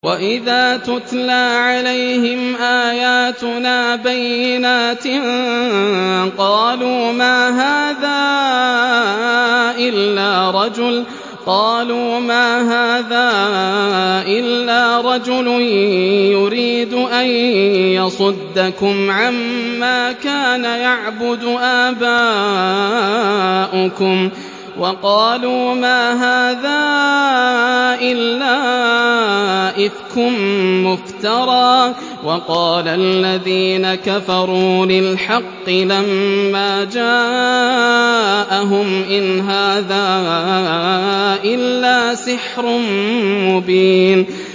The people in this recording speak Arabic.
وَإِذَا تُتْلَىٰ عَلَيْهِمْ آيَاتُنَا بَيِّنَاتٍ قَالُوا مَا هَٰذَا إِلَّا رَجُلٌ يُرِيدُ أَن يَصُدَّكُمْ عَمَّا كَانَ يَعْبُدُ آبَاؤُكُمْ وَقَالُوا مَا هَٰذَا إِلَّا إِفْكٌ مُّفْتَرًى ۚ وَقَالَ الَّذِينَ كَفَرُوا لِلْحَقِّ لَمَّا جَاءَهُمْ إِنْ هَٰذَا إِلَّا سِحْرٌ مُّبِينٌ